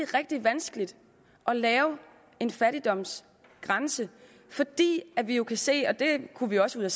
rigtig vanskeligt at lave en fattigdomsgrænse fordi vi jo kan se det kunne vi også